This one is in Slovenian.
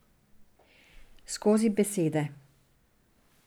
Skozi besede.